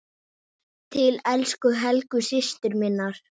Til elsku Helgu systur minnar.